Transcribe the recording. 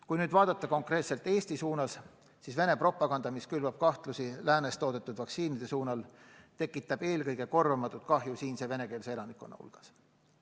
Kui nüüd vaadata konkreetselt Eesti suunas, siis Vene propaganda, mis külvab kahtlusi läänes toodetud vaktsiinide kohta, tekitab eelkõige korvamatut kahju siinse venekeelse elanikkonna hulgas.